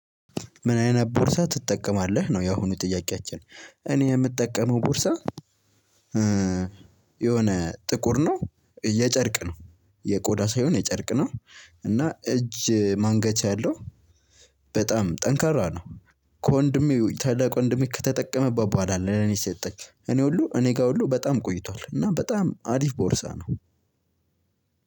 ምን አይነት ቦርሳ ትጠቀማለህ ነው ያሁኑ ጥያቄያችን እኔ የምጠቀመው ቦርሳ የሆነ ጥቁር ነው የጨርቅ ነው የቆዳ ሳይሆን የጨርቅ ነው። እና እጅ ማንገቻ ያለው በጣም ጠንካራ ነው ከወንድሜ ታላቅ ወንድሜ ከተጠቀመበት በኋላ ለኔ የሰጠኝ እኔ ሁሉ እኔ ጋር ሁሉ በጣም ቆይቷል እና በጣም አሪፍ ቦርሳ ነው።